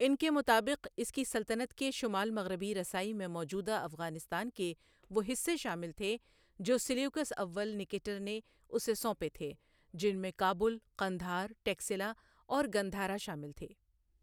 ان کے مطابق، اس کی سلطنت کی شمال مغربی رسائی میں موجودہ افغانستان کے وہ حصے شامل تھے جو سیلیوکس اول نکیٹر نے اسے سونپے تھے جن میں کابل، قندھار، ٹیکسلا اور گندھارا شامل تھے۔